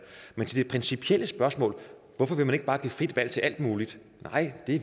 men til det principielle spørgsmål om hvorfor man ikke bare vil give frit valg til alt muligt